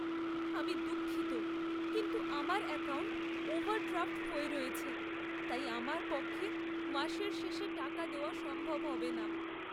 আমি দুঃখিত, কিন্তু আমার অ্যাকাউন্ট ওভারড্রাফ্ট হয়ে রয়েছে, তাই আমার পক্ষে মাসের শেষে টাকা দেওয়া সম্ভব হবে না।